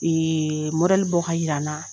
Ee mɔdɛliɛ bɔ ka yira n na